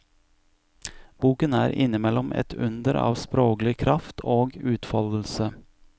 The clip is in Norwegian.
Boken er innimellom et under av sproglig kraft og utfoldelse.